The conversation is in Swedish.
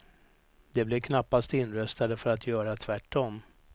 De blev knappast inröstade för att göra tvärtom.